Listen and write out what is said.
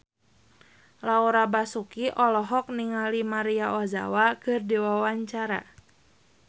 Laura Basuki olohok ningali Maria Ozawa keur diwawancara